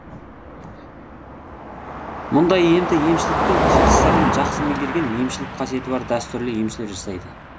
мұндай емді емшіліктің қыр сырын жақсы меңгерген емшілік қасиеті бар дәстүрлі емшілер жасайды